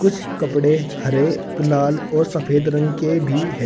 कुछ कपड़े हरे लाल और सफेद रंग के भी है।